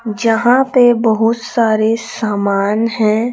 जहां पे बहुत सारे सामान हैं।